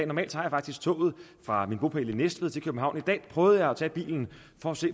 normalt tager jeg faktisk toget fra min bopæl i næstved til københavn men i dag prøvede jeg at tage bilen for at se